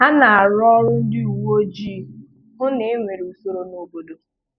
Há nà-àrụ́ ọ̀rụ́ ndị́ úwé ójíi hụ́ nà é nwèrè ùsòrò n'òbòdò.